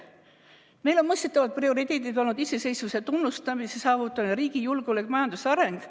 Meil on mõistetavalt prioriteedid olnud iseseisvuse tunnustamise saavutamine, riigi julgeolek ja majanduse areng.